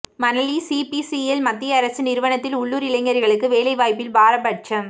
Manali CPCL மத்திய அரசு நிறுவனத்தில் உள்ளூர் இளைஞர்களுக்கு வேலைவாய்ப்பில் பாரபட்சம்